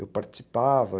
Eu participava.